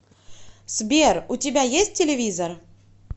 сбер у тебя есть телевизор